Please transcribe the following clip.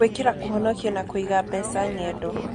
Gwĩkĩra Kũhonokia na Kũiga Mbeca Ng'endo: